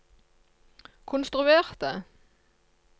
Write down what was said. konstruerte